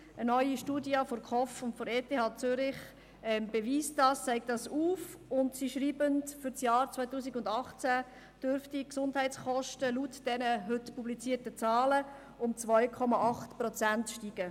Eine neue Studie der Konjunkturforschungsstelle (KOF) und der ETH Zürich beweist dies, zeigt dies auf, und sie schreiben, für das Jahr 2018 dürften die Gesundheitskosten laut dieser heute publizierten Zahlen um 2,8 Prozent steigen.